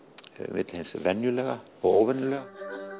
milli hins venjulega og óvenjulega